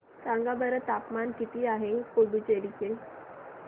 सांगा बरं तापमान किती आहे पुडुचेरी चे